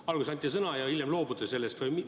Kas alguses anti sõna ja hiljem loobuti sellest?